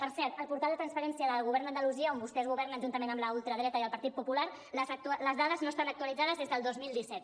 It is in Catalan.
per cert el portal de transparència del govern d’andalusia on vostès governen juntament amb la ultradreta i el partit popular les dades no estan actualitzades des del dos mil disset